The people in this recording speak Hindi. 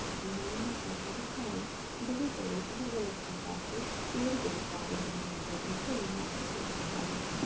अभि हम यहा पर बहुत सारे बड़े बड़े अलग अलग प्रकार के पेड़ देख पा रहे है यह दृश्य रोमांचक लग रहा है।